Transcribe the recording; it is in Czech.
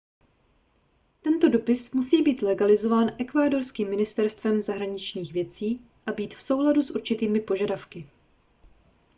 tento dopis musí být legalizován ekvádorským ministerstvem zahraničních věcí a být v souladu s určitými požadavky